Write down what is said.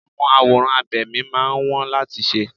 Àwọn àwòrán abẹ̀mí máa ń wón láti ṣe.